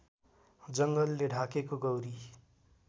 जङ्गलले ढाकेको गौरी